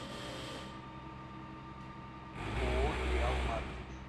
ооо триал маркет